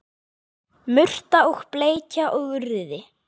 Murta og bleikja og urriði